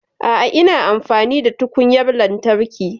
A'a, ina amfani da tukunyar lantarki